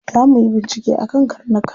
Za muyi bincike akan karnuka.